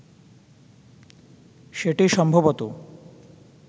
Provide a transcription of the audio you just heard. সেটি সম্ভবত